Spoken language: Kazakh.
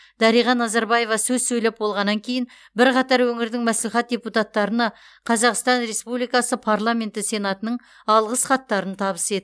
дариға назарбаева сөз сөйлеп болғаннан кейін бірқатар өңірдің мәслихат депутаттарына қазақстан республикасы парламенті сенатының алғыс хаттарын табыс етті